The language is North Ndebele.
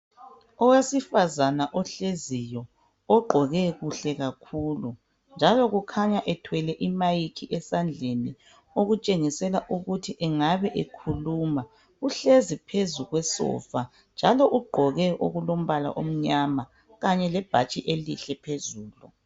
Owesifazana ohleziyo ogqoke kuhle kakhulu njalo kukhanya ethwele imayikhi esandleni okutshengisela ukuthi engabe ekhuluma. Uhlezi phezu kwesofa njalo ugqoke okulombala omnyama kanye lebhatshi elihle phezulu.